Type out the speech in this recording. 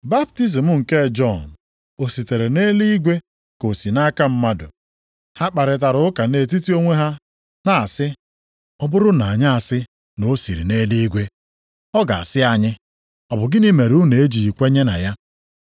Baptizim nke Jọn o sitere nʼeluigwe, ka ọ si nʼaka mmadụ?” Ha kparịtara ụka nʼetiti onwe ha na-asị, “Ọ bụrụ na anyị asị, ‘Na o si nʼeluigwe,’ ọ ga-asị anyị, ‘Ọ bụ gịnị mere unu na-ejighị kwenye na ya?’